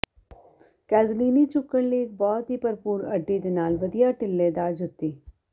ਕੇਜ਼ੁਲੀਨੀ ਝੁਕਣ ਲਈ ਇਕ ਬਹੁਤ ਹੀ ਭਰਪੂਰ ਅੱਡੀ ਦੇ ਨਾਲ ਵਧੀਆ ਢਿੱਲੇਦਾਰ ਜੁੱਤੀ